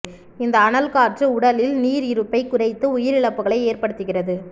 இந்த அனல் காற்று உடலில் நீர் இருப்பை குறைத்து உயிரிழப்புகளை ஏற்படுத்துகிறது